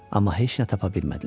Amma heç nə tapa bilmədilər.